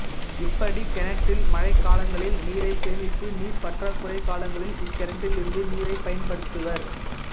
இப்படிகிணற்றில் மழைக் காலங்களில் நீரை சேமித்து நீர் பற்றாக்குறை காலங்களில் இக்கிணற்றிலிருந்து நீரை பயன்படுத்துவர்